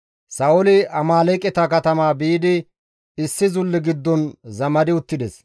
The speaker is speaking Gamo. Sa7ooli Amaaleeqeta katama biidi issi zulle giddon zamadi uttides.